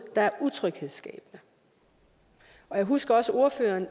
der er utryghedsskabende jeg husker også at ordføreren